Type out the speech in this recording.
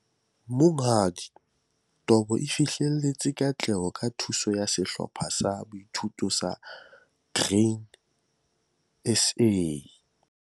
Monghadi Tobo o fihlelletse katleho ka thuso ya sehlopha sa boithuto sa Grain SA.